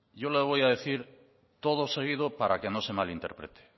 yo le voy a decir todo seguido para que no se malinterprete